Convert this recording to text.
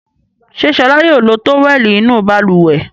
Ṣé Ṣọlá yóò lo tówẹ́lì inú balùwẹ̀?